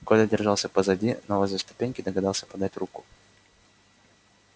коля держался позади но возле ступеньки догадался подать руку